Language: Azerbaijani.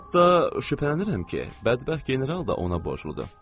Hətta şübhələnirəm ki, bədbəxt general da ona borcludur.